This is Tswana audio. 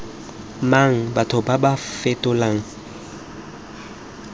mang batho ba ba fetolang